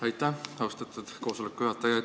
Aitäh, austatud koosoleku juhataja!